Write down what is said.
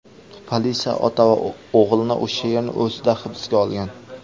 Politsiya ota va o‘g‘ilni o‘sha yerning o‘zida hibsga olgan.